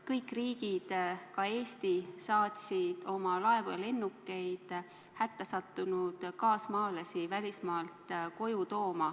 Kõik riigid, ka Eesti, saatsid oma laevu ja lennukeid hätta sattunud kaasmaalasi välismaalt koju tooma.